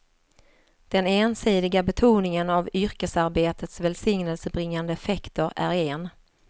Den ensidiga betoningen av yrkesarbetets välsignelsebringande effekter är en.